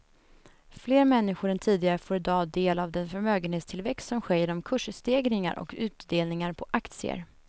Fler människor än tidigare får i dag del av den förmögenhetstillväxt som sker genom kursstegringar och utdelningar på aktier.